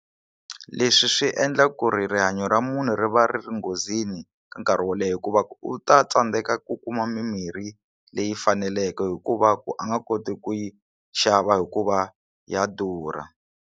Leswi swi endla ku ri rihanyo ra munhu ri va ri ri nghozini ka nkarhi wo leha hikuva u ta tsandzeka ku kuma mimirhi leyi faneleke hikuva ku a nga koti ku yi xava hikuva ya durha.